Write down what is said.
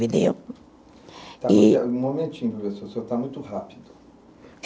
Um momentinho, professor, o senhor está muito rápido.